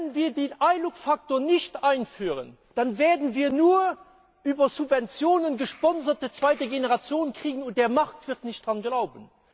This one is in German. Aber wenn wir den ILUC Faktor nicht einführen, dann werden wir nur eine über Subventionen gesponsorte zweite Generation bekommen, und der Markt wird nicht daran glauben.